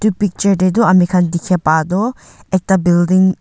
edu picture tae tu amikhan dikhae pa tu ekta building --